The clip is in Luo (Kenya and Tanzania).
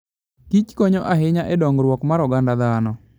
Agriculture and Foodkonyo ahinya e dongruok mar oganda dhano.